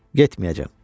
Getməyəcəm.